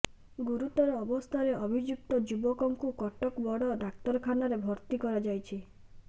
ଗୁରୁତର ଅବସ୍ଥାରେ ଅଭିଯୁକ୍ତ ଯୁବକଙ୍କୁ କଟକ ବଡ଼ ଡାକ୍ତରଖାନାରେ ଭର୍ତ୍ତି କରାଯାଇଛି